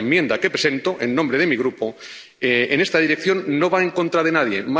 La enmienda que presento en nombre de mi Grupo va en esta dirección, no va en contra de nadie